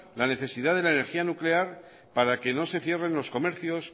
la necesidad de la energía nuclear para que no se cierren los comercios